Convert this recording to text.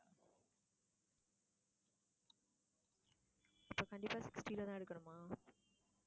அப்ப கண்டிப்பா sixty ல தான் எடுக்கணுமா